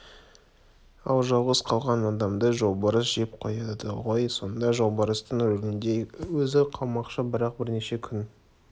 ал жалғыз қалған адамды жолбарыс жеп қояды ғой сонда жолбарыстың рөлінде өзі қалмақшы бірақ бірнеше күн